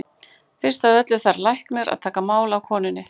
Fyrst af öllu þarf læknir að taka mál af konunni.